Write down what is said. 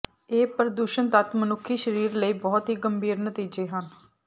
ਇਹ ਪ੍ਰਦੂਸ਼ਣ ਤੱਤ ਮਨੁੱਖੀ ਸਰੀਰ ਲਈ ਬਹੁਤ ਹੀ ਗੰਭੀਰ ਨਤੀਜੇ ਹਨ